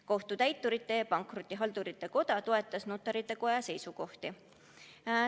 Kohtutäiturite ja Pankrotihaldurite Koda toetas Notarite Koja seisukohti.